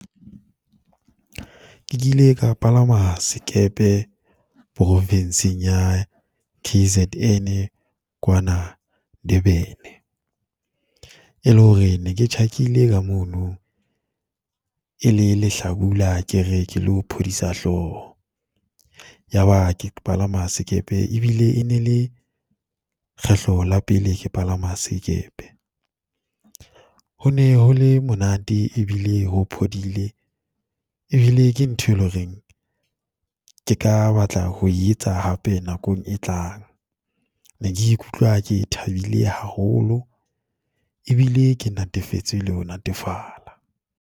Ke kile ka palama sekepe Province-ing ya K_Z_N kwana Durban, e le hore ne ke tjhakile ka mono e le lehlabula ke re ke lo phodisa hloho. Ya ba ke palama sekepe e bile e ne le kgetlo la pele ke palama sekepe. Ho ne ho le monate e bile ho phodile, e bile ke ntho e loreng ke ka batla ho e etsa hape nakong e tlang. Ne ke ikutlwa ke thabile haholo, e bile ke natefetswe le ho natefala.